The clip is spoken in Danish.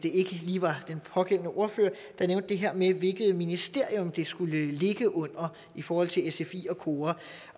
lige var den pågældende ordfører der nævnte det her med hvilket ministerium det skulle ligge under i forhold til sfi og kora